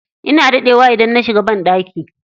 Ina daɗewa idan na shiga banɗaki.